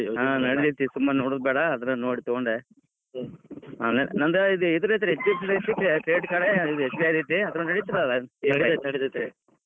ಹಾ ನಡೀತೇತ್ರಿ ಸುಮ್ ನೋಡುದ್ ಬ್ಯಾಡಾ ಅದನ್ ನೋಡಿ ತುಗೊಂಡ್, ನಂದ್ ಇದ್ credit card SBI ಐತ್ರೀ .